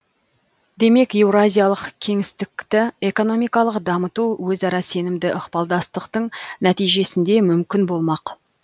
демек еуразиялық кеңістікті экономикалық дамыту өзара сенімді ықпалдастықтың нәтижесінде мүмкін болмақ